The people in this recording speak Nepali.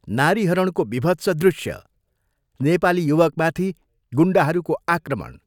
नारीहरणको विभत्स दृश्य, नेपाली युवकमाथि गुण्डाहरूको आक्रमण।